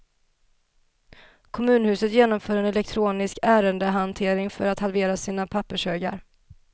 Kommunhuset genomför en elektronisk ärendehantering för att halvera sina pappershögar.